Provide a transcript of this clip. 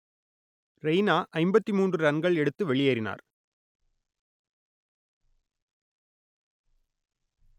ரெய்னா ஐம்பத்தி மூன்று ரன்கள் எடுத்து வெளியேறினார்